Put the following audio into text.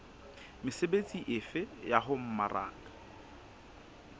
mesebetsi efe ya ho mmaraka